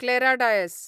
Clara Dias